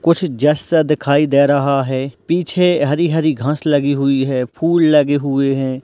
कुछ जस सा दिखाई दे रहा है पीछे हरी-हरी घास लगी हुई है फूल लगे हुए हैं।